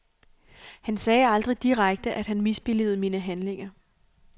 Han sagde aldrig direkte, at han misbilligede mine handlinger.